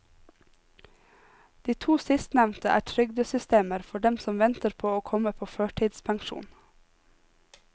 De to sistnevnte er trygdesystemer for dem som venter på å komme på førtidspensjon.